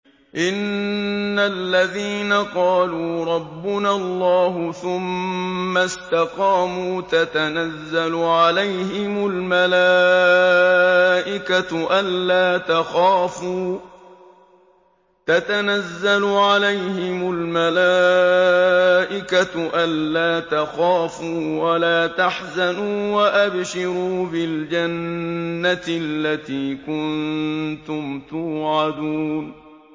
إِنَّ الَّذِينَ قَالُوا رَبُّنَا اللَّهُ ثُمَّ اسْتَقَامُوا تَتَنَزَّلُ عَلَيْهِمُ الْمَلَائِكَةُ أَلَّا تَخَافُوا وَلَا تَحْزَنُوا وَأَبْشِرُوا بِالْجَنَّةِ الَّتِي كُنتُمْ تُوعَدُونَ